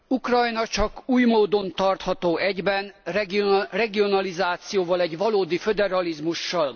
Ukrajna csak egy módon tartható egyben, regionalizációval, egy valódi föderalizmussal.